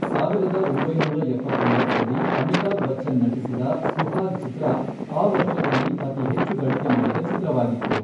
ಸಾವಿರದ ಒಂಬೈನೂರ ಎಪ್ಪತ್ತೊಂಬತ್ತರಲ್ಲಿ, ಅಮಿತಾಬ್ ಬಚ್ಚನ್ ನಟಿಸಿದ ಸುಹಾಗ್ ಚಿತ್ರ ಆ ವರ್ಷದಲ್ಲಿ ಅತಿ ಹೆಚ್ಚು ಗಳಿಕೆ ಮಾಡಿದ ಚಿತ್ರವಾಗಿತ್ತು.